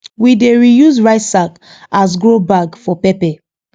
we dey reuse rice sack as grow bag for pepper